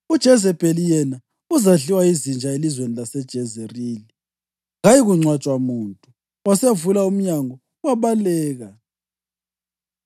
UJezebheli, yena uzadliwa yizinja elizweni laseJezerili; kayikungcwatshwa muntu.’ ” Wasevula umnyango, wabaleka.